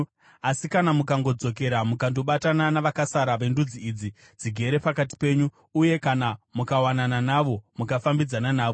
“Asi kana mukangodzokera mukandobatana navakasara vendudzi idzi, dzigere pakati penyu uye kana mukawanana navo mukafambidzana navo,